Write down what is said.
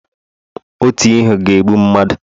otu ihe ga-egbu mmadu